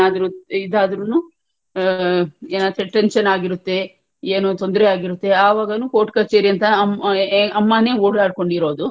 ಏನಾದ್ರೂ ಇದಾದ್ರುನು ಏನೋ tention ಆಗಿರುತ್ತೆ ಏನೂ ತೊಂದ್ರೆಯಾಗಿರುತ್ತೆ ಆವಾಗೂನೂ court ಕಚೇರಿ ಅಂತ ಅಮ್ಮನೇ ಓಡಾಡ್ಕೊಂಡಿರೋದು,